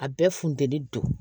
A bɛɛ funtɛni don